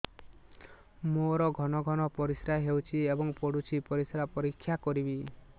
ମୋର ଘନ ଘନ ପରିସ୍ରା ହେଉଛି ଏବଂ ପଡ଼ୁଛି ପରିସ୍ରା ପରୀକ୍ଷା କରିବିକି